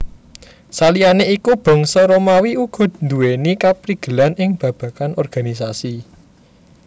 Saliyané iku Bangsa Romawi uga nduwèni kaprigelan ing babagan organisasi